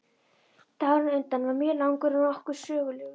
Dagurinn á undan var mjög langur og nokkuð sögulegur.